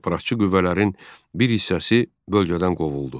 Separatçı qüvvələrin bir hissəsi bölgədən qovuldu.